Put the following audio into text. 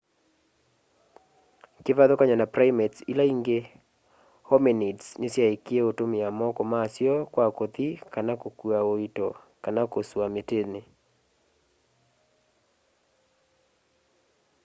kivathukany'o na primates ila ingi hominids nisyaekie utumia moko masyo kwa kuthi kana kukua uito kana kusua mitini